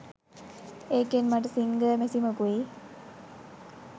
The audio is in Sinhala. ඒකෙන් මට සිංගර් මැසිමකුයි